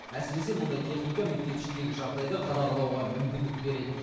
әсіресе мұндай техника мектеп ішіндегі жағдайды қадағалауға мүмкіндік береді